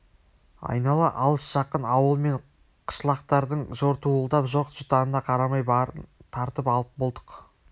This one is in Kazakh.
айнала алыс-жақын ауыл мен қышлақтарды жортуылдап жоқ-жұтаңына қарамай барын тартып алып болдық